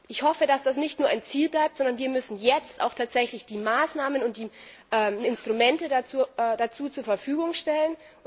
Ich hoffe, dass das nicht nur ein Ziel bleibt, sondern wir müssen jetzt auch tatsächlich die Maßnahmen und die Instrumente dazu zur Verfügung stellen.